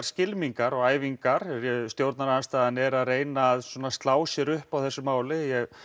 skylmingar og æfingar stjórnarandstaðan er að reyna að slá sér upp á þessu máli